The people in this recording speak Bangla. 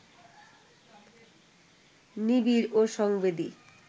নিবিড় ও সংবেদী